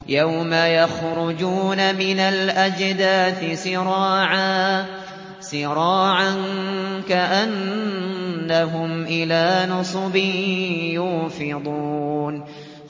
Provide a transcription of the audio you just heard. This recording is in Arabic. يَوْمَ يَخْرُجُونَ مِنَ الْأَجْدَاثِ سِرَاعًا كَأَنَّهُمْ إِلَىٰ نُصُبٍ يُوفِضُونَ